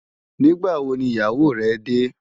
Nigbâ wó ni iyáwó rè dè?